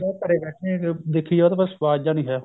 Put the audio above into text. ਲੋਕ ਘਰੇ ਬੈਠੇ ਦੇਖੀ ਜਾਉ ਉਹ ਤਾਂ ਬੱਸ ਸਵਾਦ ਜਾ ਨੀ ਹੈ